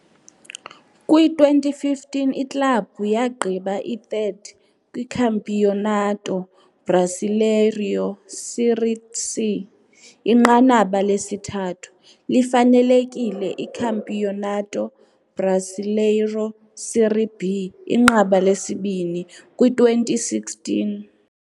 Kwi-2015 iklabhu yagqiba i-3rd kwiCampeonato Brasileiro - Série C, inqanaba lesithathu, lifanelekile iCampeonato Brasileiro - Série B, inqaba lesibini, kwi-2016.